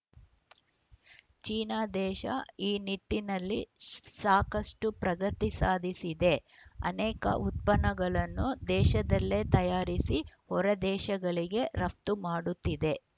China ದೇಶ ಈ ನಿಟ್ಟಿನಲ್ಲಿ ಸಾಕಷ್ಟುಪ್ರಗತಿ ಸಾಧಿಸಿದೆ ಅನೇಕ ಉತ್ಪನ್ನಗಳನ್ನು ದೇಶದಲ್ಲೇ ತಯಾರಿಸಿ ಹೊರದೇಶಗಳಿಗೆ ರಫ್ತು ಮಾಡುತ್ತಿದೆ